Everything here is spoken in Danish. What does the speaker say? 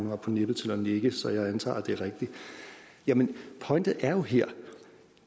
er på nippet til at nikke så jeg antager at det er rigtigt jamen pointen er jo her at